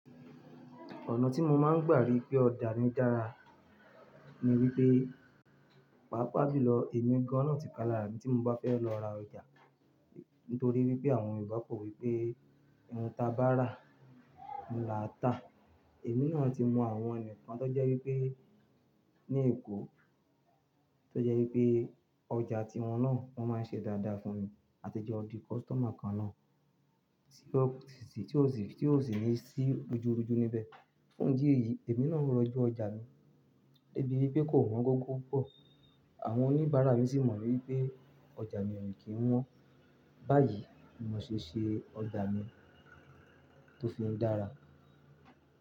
Ọ̀nà tí mo máa ń gbà rí pé ọjà mi dára ni wípé, pàápàá julọ èmi gan nọ ti kalara mi tí mo bá fẹ́ lọ ra ọjà. Nítorí wípé àwọn yorubá pọ̀ wípé iun ta bá rà, n lá ta. Èmi náà ti mọ àwọn ẹnìkan tó jẹ́ wípé ní Èkó, tó jẹ́ wípé ọjà tí wọn náà wọ́n máa ń ṣe dáadáa fún mi. A ti jẹ́ di customer kan náà, tí ó sì ní sí rujúrujú níbẹ̀. Fún ìdí èyí, èmi náà ń rọjú ọjà mi débi wípé kò wọ́n gọ́ọ̀gọ́ púpọ̀. Àwọn oníbàárà mi sì mọ̀ wípé ọjà mi ò kí ń wọ́n. Báyìí ni mo ṣe ṣe ọjà mi tó fi ń dára.